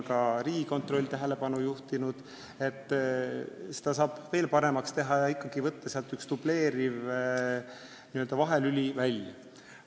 Ka Riigikontroll on tähelepanu juhtinud, et saab veel paremaks teha ja võtta üks dubleeriv vahelüli välja.